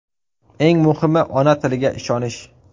Eng muhimi, ona tiliga ishonish!